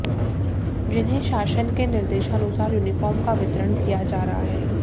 जिन्हें शासन के निर्देशानुसार यूनिफार्म का वितरण किया जा रहा है